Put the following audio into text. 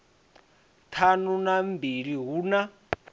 ṱhanu na mbili hu na